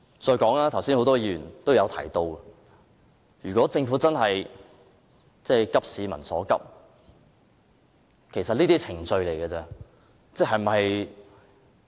再者，剛才很多議員也有提及，如果政府真正急市民所急，這些只是程序而已。